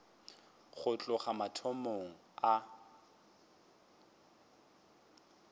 go tloga le mathomong a